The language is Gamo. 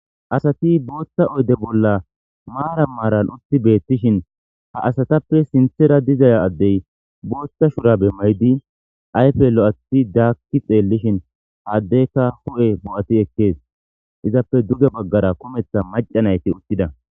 Asati bootha oyde bolla maaran maaran utti beettishin ha asatappe sinthera diza addey bootha shurabe mayidi ayfe lo'athi daakki xeelishin ha addeyka hu'e bo'ati ekkees izappe duge baggara kumetha macca nayti uttida.